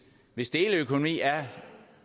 hvis deleøkonomi er